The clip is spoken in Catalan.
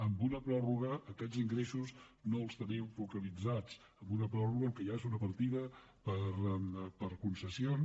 amb una pròrroga aquests ingressos no els tenim focalitzats amb una pròrroga el que hi ha és una partida per concessions